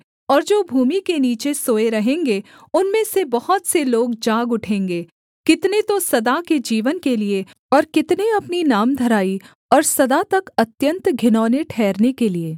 और जो भूमि के नीचे सोए रहेंगे उनमें से बहुत से लोग जाग उठेंगे कितने तो सदा के जीवन के लिये और कितने अपनी नामधराई और सदा तक अत्यन्त घिनौने ठहरने के लिये